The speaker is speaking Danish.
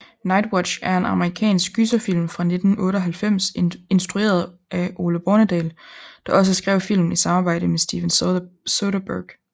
Nightwatch er en amerikansk gyserfilm fra 1998 instrueret af Ole Bornedal der også skrev filmen i samarbejde med Steven Soderbergh